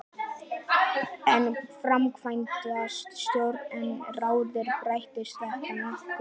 Ef framkvæmdastjóri er ráðinn breytist þetta nokkuð.